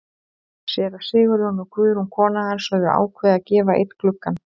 Séra Sigurjón og Guðrún kona hans höfðu ákveðið að gefa einn gluggann.